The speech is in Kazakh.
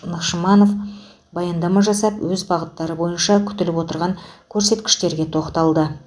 нығшманов баяндама жасап өз бағыттары бойынша күтіліп отырған көрсеткіштерге тоқталды